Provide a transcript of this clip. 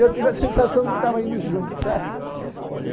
Eu tive a sensação de que tava indo junto, sabe? Eu digo